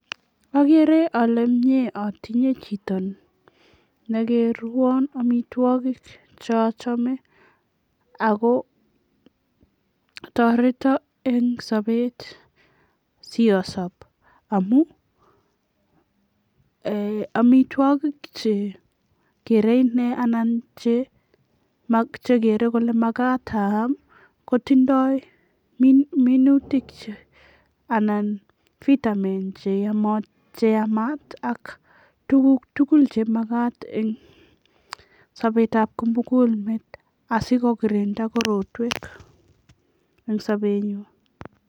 Ageere ale mie atinye chito nekerwon amitwokik chochome ako toreto eng sobet siyasob amun amitwokik che geere inee anan che geere kole makat aam kotindoi minutik anan vitamns che yamat ak tuguk tugul chemakat eng sobetab kimugul meet asikokirinda korotwek eng sobenyin.